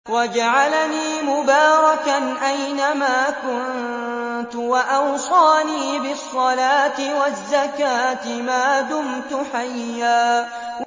وَجَعَلَنِي مُبَارَكًا أَيْنَ مَا كُنتُ وَأَوْصَانِي بِالصَّلَاةِ وَالزَّكَاةِ مَا دُمْتُ حَيًّا